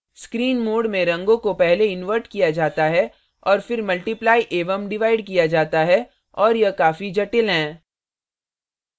screen mode में रंगों को पहले inverted किया जाता है और फिर multiplied एवं डिवाइड किया जाता है और यह काफी जटिल हैं